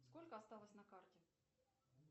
сколько осталось на карте